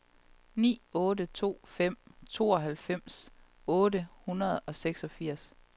ni otte to fem tooghalvfems otte hundrede og seksogfirs